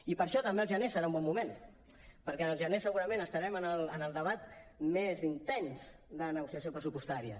i per això també el gener serà un bon moment perquè al gener segurament estarem en el debat més intens de la negociació pressupostària